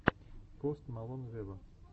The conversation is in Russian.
пост малон вево